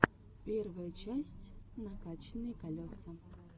первая часть накачанные колеса